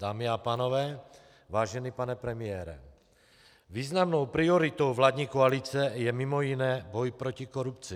Dámy a pánové, vážený pane premiére, významnou prioritou vládní koalice je mimo jiné boj proti korupci.